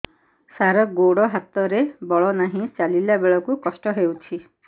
ସାର ଗୋଡୋ ହାତରେ ବଳ ନାହିଁ ଚାଲିଲା ବେଳକୁ କଷ୍ଟ ହେଉଛି